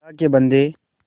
अल्लाह के बन्दे